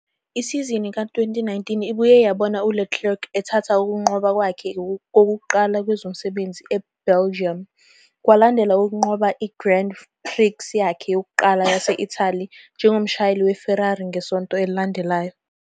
Isizini ka-2019 ibuye yabona uLeclerc ethatha ukunqoba kwakhe kokuqala kwezomsebenzi eBelgium, kwalandela ukunqoba i-Grand Prix yakhe yokuqala yase-Italy njengomshayeli weFerrari ngesonto elilandelayo.